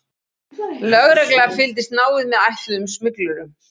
Lögregla fylgdist náið með ætluðum smyglurum